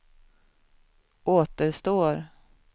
återstår